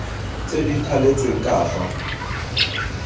tse di thaletsweng ka fa